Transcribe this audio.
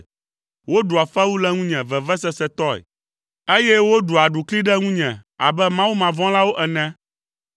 Woɖua fewu le ŋunye vevesesetɔe, eye woɖua aɖukli ɖe ŋunye abe mawumavɔ̃lawo ene.